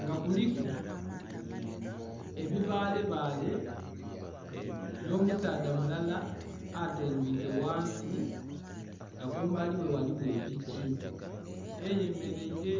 nga kuliku ebibaale baale nho musaadha mulalal atendhwike ghansi nga kumbali ghe ghaligho epiki eyemereire.